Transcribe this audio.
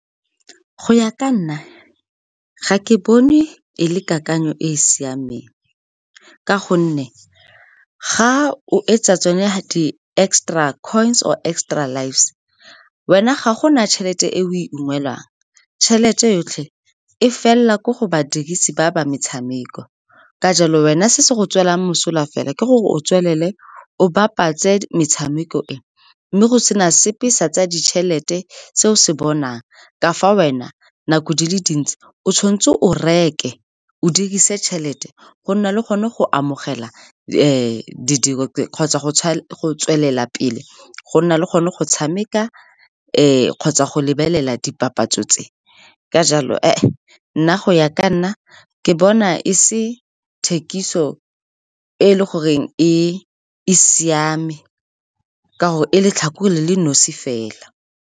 Go ya ka nna, ga ke bone e le kakanyo e e siameng ka gonne ga o etsa tsone, gatwe extra coins or extra lives, wena ga gona tšhelete e o e ungwelwang. Tšhelete yotlhe e felela ko go badirisi ba ba metshameko. Ka jalo wena, se se go tswelelang mosola fela ke gore o tswelele o bapatse metshameko e, mme go sena sepe sa tsa ditšhelete se o se bonang ka fa wena, nako di le dintsi o tshwanetse o reke, o dirise tšhelete go nna le gone go amogela kgotsa go tswelela pele go nna le gone go tshameka kgotsa go lebelela dipapatso tse. Ka jalo , nna go ya ka nna ke bona e se thekiso e le goreng e siame ka gore e letlhakore le le nosi fela.